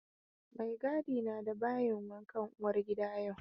Maigadi na da bayin wankan uwar gida yau.